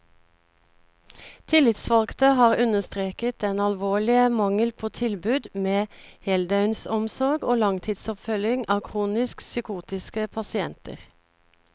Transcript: Tillitsvalgte har understreket den alvorlige mangel på tilbud med heldøgnsomsorg og langtidsoppfølging av kronisk psykotiske pasienter.